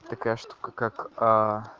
такая штука как а